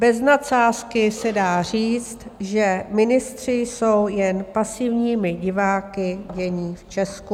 Bez nadsázky se dá říct, že ministři jsou jen pasivními diváky dění v Česku.